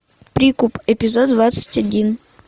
прикуп эпизод двадцать один